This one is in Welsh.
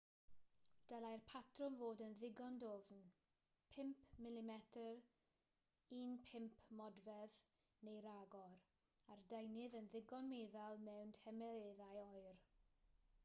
dylai'r patrwm fod yn ddigon dwfn 5mm 1/5 modfedd neu ragor a'r deunydd yn ddigon meddal mewn tymereddau oer